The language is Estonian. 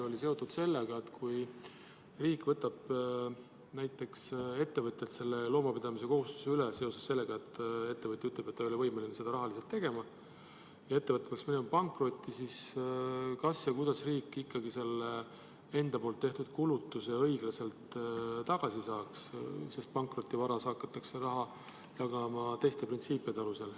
–, oli seotud sellega, et kui riik võtab näiteks ettevõtjalt loomapidamise kohustuse üle seoses sellega, et ettevõtja ütleb, et ta ei ole rahaliselt võimeline seda tegema, ja ettevõte peaks minema pankrotti, siis kas ja kuidas riik ikkagi selle enda tehtud kulutuse õiglaselt tagasi saaks, sest pankrotivaras hakatakse raha jagama teiste printsiipide alusel.